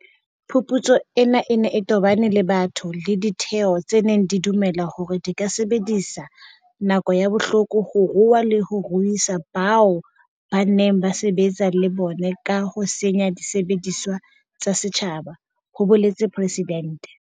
Phuputso ena e ne e tobane le batho le ditheo tse neng di dumela hore di ka sebedisa nako ya bohloko ho rua le ho ruisa bao ba neng ba sebetsa le bona ka ho senya disebediswa tsa setjhaba, ho boletse Presidente.